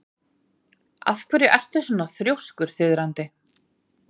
Af hverju ertu svona þrjóskur, Þiðrandi?